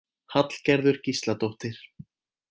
Hallgerður Gísladóttir.